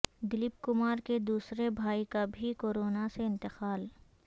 دلیپ کمار کے دوسرے بھائی کا بھی کورونا سے انتقال